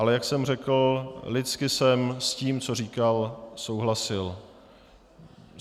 Ale jak jsem řekl, lidsky jsem s tím, co říkal, souhlasil.